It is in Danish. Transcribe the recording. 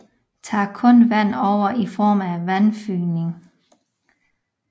Tager kun vand over i form af vandfygning